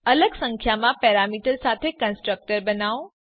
અલગ સંખ્યામાં પેરામીટર સાથે કન્સ્ટ્રક્ટર બનાઓ